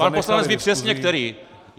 Pan poslanec ví přesně který.